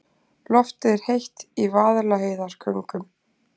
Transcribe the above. Loftið er heitt í Vaðlaheiðargöngum.